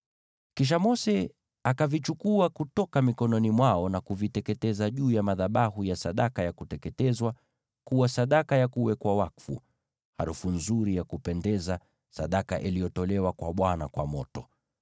Kisha Mose akavichukua kutoka mikononi mwao na kuviteketeza juu ya madhabahu ya sadaka ya kuteketezwa kuwa sadaka ya kuwekwa wakfu, harufu nzuri ya kupendeza, sadaka iliyotolewa kwa Bwana kwa moto.